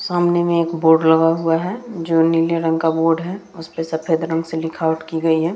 सामने में एक बोर्ड लगा हुआ है जो नीले रंग का बोर्ड है । उसपे सफेद रंग से लिखावट की गई है ।